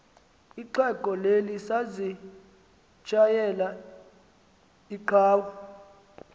ixhego lalisazitshayela inqawa